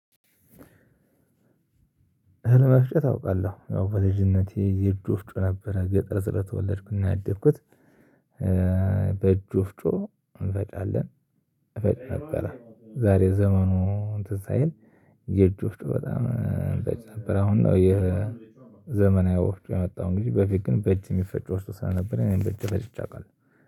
እህል መፍጨት አውቃለሁ። ያው በልጅነቴ የእጅ ወፍጮ ነበረን። ገጠር ስለተወለድኩ እና ያደኩት በእጅ ወፍጮ እንፈጫለን። እፈጭ ነበረ ዛሬ ዘመኑ እንትን ሳይል የእጅ ወፍጮ በጣም በእጅ ነበር አሁን ነው የዘመናዊ ወፍጮ የመጣው እንግዲህ በፊት ግን በእጅ የሚፈጭ ወፍጮ ስለ ነበር እኔ በእጄ ፈጭቼ አውቃለሁ።